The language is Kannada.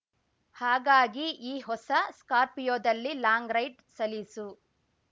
ಹಾಗಾಗಿ ಈ ಹೊಸ ಸ್ಕಾರ್ಪಿಯೋದಲ್ಲಿ ಲಾಂಗ್‌ ರೈಡ್‌ ಸಲೀಸು